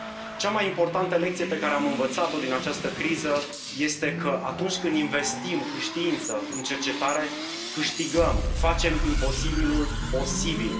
Cea mai importantă lecție pe care am învățat o din această criză este că, atunci când investim în știință, în cercetare, câștigăm, facem imposibilul posibil.